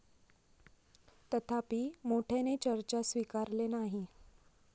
तथापि, मोठ्याने चर्चा स्वीकारले नाही.